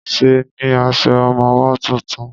Ṣe ní aṣọ ọmọwọ́ tuntun?